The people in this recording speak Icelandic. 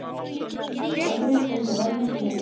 Aðrir fengu helmingi minna.